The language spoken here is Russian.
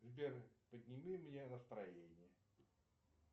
сбер подними мне настроение